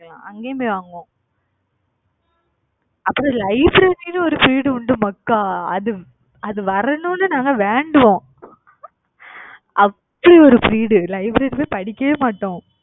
அங்கயும் போய் வாங்குவோம் அப்புறம் library ன்னு ஒரு period உண்டு மக்கா. அது அது வரணும்ன்னு நாங்க வேண்டுவோம். அப்படி ஒரு period library ல படிக்கவே மாட்டோம்.